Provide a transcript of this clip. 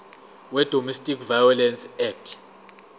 wedomestic violence act